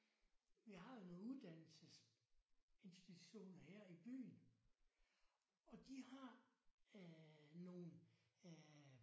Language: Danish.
Vi har jo nogle uddannelsesinstitutioner her i byen og de har øh nogle øh